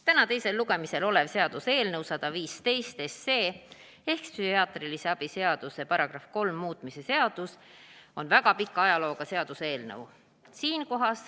Täna teisel lugemisel olev seaduseelnõu 115 ehk psühhiaatrilise abi seaduse § 3 muutmise seaduse eelnõu on väga pika ajalooga eelnõu.